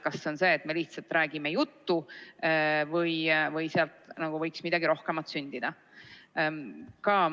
Kas seda, et me lihtsalt räägime juttu, või sealt võiks midagi rohkemat sündida.